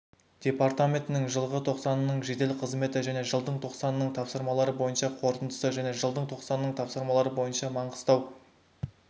департаментінің жылғы тоқсанының жедел-қызметі және жылдың тоқсанының тапсырмалары бойынша қорытындысы және жылдың тоқсанының тапсырмалары бойынша маңғыстау